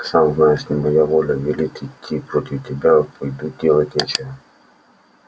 сам знаешь не моя воля велят идти против тебя пойду делать нечего